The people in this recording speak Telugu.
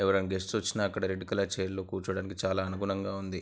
ఎవరన్న గెస్ట్ లొచ్చిన అక్కడ రెడ్ కలర్ చైర్ లో కూర్చోడానికి చాలా అనుగుణంగా ఉంది.